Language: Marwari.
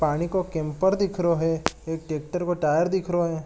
पानी को कैंपर दिखरो है एक ट्रैक्टर को टायर दिखरो है।